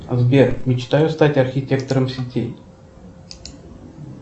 сбер мечтаю стать архитектором сети